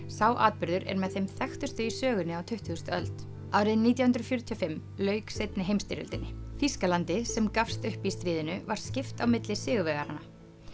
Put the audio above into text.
sá atburður er með þeim þekktustu í sögunni á tuttugustu öld árið nítján hundruð fjörutíu og fimm lauk seinni heimstyrjöldinni Þýskalandi sem gafst upp í stríðinu var skipt á milli sigurvegaranna